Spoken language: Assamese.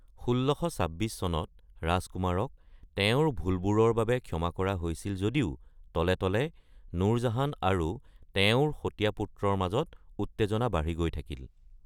১৬২৬ চনত ৰাজকুমাৰক তেওঁৰ ভুলবোৰৰ বাবে ক্ষমা কৰা হৈছিল যদিও তলে তলে নুৰজাহান আৰু তেওঁৰ সতীয়া পুত্ৰৰ মাজত উত্তেজনা বাঢ়ি গৈ থাকিল।